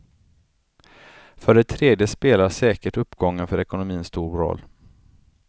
För det tredje spelar säkert uppgången för ekonomin stor roll.